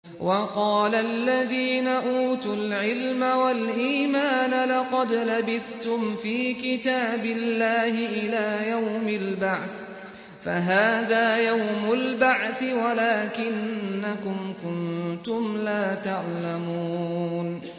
وَقَالَ الَّذِينَ أُوتُوا الْعِلْمَ وَالْإِيمَانَ لَقَدْ لَبِثْتُمْ فِي كِتَابِ اللَّهِ إِلَىٰ يَوْمِ الْبَعْثِ ۖ فَهَٰذَا يَوْمُ الْبَعْثِ وَلَٰكِنَّكُمْ كُنتُمْ لَا تَعْلَمُونَ